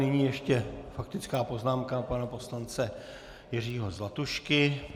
Nyní ještě faktická poznámka pana poslance Jiřího Zlatušky.